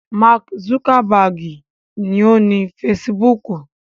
Máàkì zugabaagi ni ó ni fesibúùkù